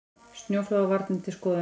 Snjóflóðavarnir til skoðunar